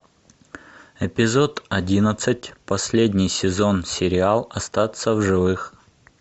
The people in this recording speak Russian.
эпизод одиннадцать последний сезон сериал остаться в живых